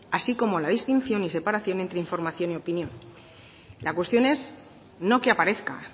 así como la distinción y separación entre información y opinión la cuestión es no que aparezca